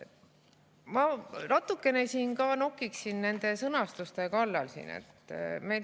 Ma natukene nokiksin ka sõnastuse kallal.